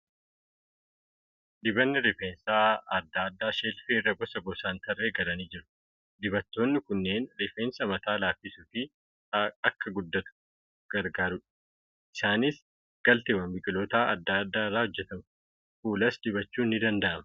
Dibanni rifeensaa adda addaa sheelfii irra gosa gosaan tarree galanii jiru. Dibatoonni kunneen rifeensa mataa laaffisuu fi akka guddatuuf gargaaeu. Isaaniis galteewwan biqiltootaa adda addaa irraa hojjatamu. Fuulas dibachuun ni danda'ama.